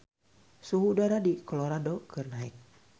Suhu udara di Colorado keur naek